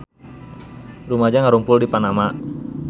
Rumaja ngarumpul di Panama